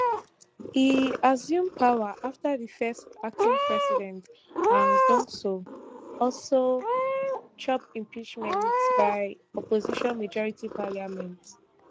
e assume power afta di first acting president han ducksoo also chop impeachment by opposition majority parliament